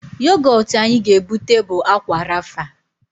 Yogọtụ anyị ga-ebute bụ Ákwà Rafa